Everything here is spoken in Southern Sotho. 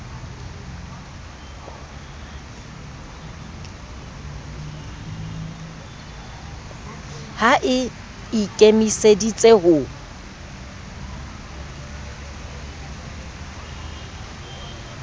ha e i kemiseditse ho